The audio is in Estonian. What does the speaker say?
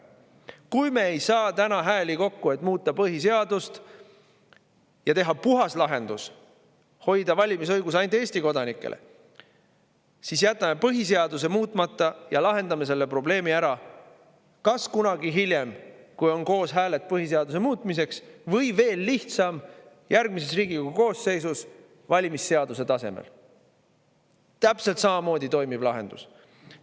Kui me ei saa täna hääli kokku, et muuta põhiseadust ja teha puhas lahendus, hoida valimisõigus ainult Eesti kodanikele, siis jätame põhiseaduse muutmata ja lahendame selle probleemi ära kas kunagi hiljem, kui on koos hääled põhiseaduse muutmiseks, või veel lihtsam, teeme seda järgmises Riigikogu koosseisus valimisseaduse tasemel, mis on täpselt samamoodi toimiv lahendus.